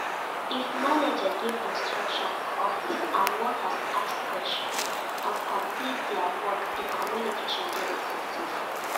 If manager give instructions for office and workers ask questions and complete their work di communication de effective